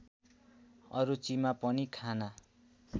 अरुचिमा पनि खाना